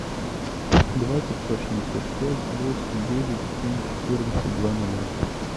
два пятьсот шестьдесят пять восемь девять семь четырнадцать два ноля